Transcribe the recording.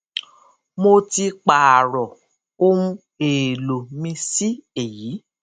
mo ti pààrọ ohun èèlò mi sí èyí